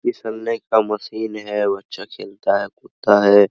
फिसलने का मशीन है बच्चा खेलता है कूदता है।